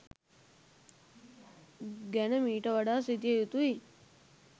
ගැන මීට වඩා සිතිය යුතුයි.